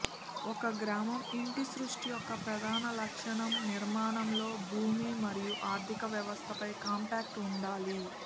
ఒక గ్రామం ఇంటి సృష్టి యొక్క ప్రధాన లక్షణం నిర్మాణంలో భూమి మరియు ఆర్థిక వ్యవస్థపై కాంపాక్ట్ ఉండాలి